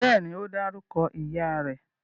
Bẹ́ẹ̀ni, ó dárúkọ ìyá rẹ̀